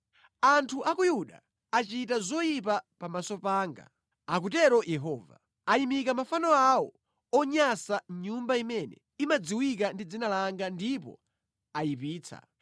“Anthu a ku Yuda achita zoyipa pamaso panga, akutero Yehova. Ayimika mafano awo onyansa mʼnyumba imene imadziwika ndi Dzina langa ndipo ayipitsa.